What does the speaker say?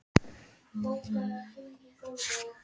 Atena, hvenær kemur vagn númer tuttugu?